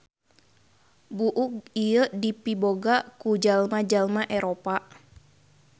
Buuk ieu dipiboga ku jalma-jalma Eropa.